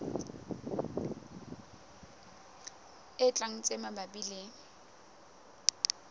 e tlang tse mabapi le